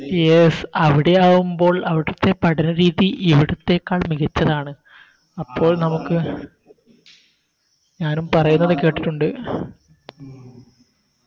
Yes അവിടെയാകുമ്പോൾ അവിടുത്തെ പഠന രീതി ഇവിടുത്തേക്കാൾ മികച്ചതാണ് അപ്പോൾ നമുക്ക് ഞാനും പറയുന്നത് കേട്ടിട്ടുണ്ട്